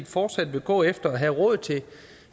fortsat vil gå efter at have råd til